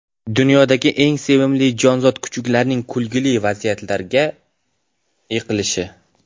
Dunyodagi eng sevimli jonzot kuchuklarning kulgili vaziyatlarda yiqilishi.